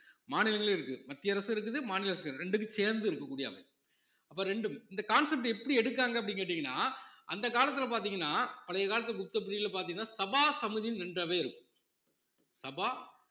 மாநிலங்களும் இருக்குது மத்திய அரசும் இருக்குது மாநில அரசு இரண்டுக்கும் சேர்ந்து இருக்கக் கூடிய அமைப்பு அப்ப ரெண்டும் இந்த concept எப்படி எடுத்தாங்க அப்படின்னு கேட்டீங்கன்னா அந்த காலத்துல பார்த்தீங்கன்னா பழைய காலத்து புத்த பிரிவுல பார்த்தீங்கன்னா சபா சமுதின்னு ரெண்டு அவை இருக்கும் சபா